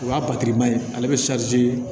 O y'a ma ye ale bɛ